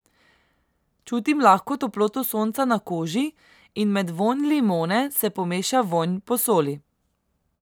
Čutim lahko toploto sonca na koži in med vonj limone se pomeša vonj po soli.